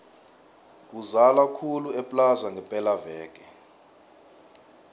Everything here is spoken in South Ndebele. kuzala khulu eplaza ngepela veke